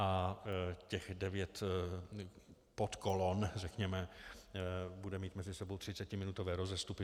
A těch devět podkolon, řekněme, bude mít mezi sebou třicetiminutové rozestupy.